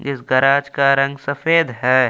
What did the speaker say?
इस गैराज का रंग सफेद है।